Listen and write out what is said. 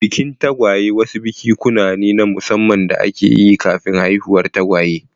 Bikin tagwaye wasu bikikuwa ne na musamman da ake yi kafin haihuwar tagwaye.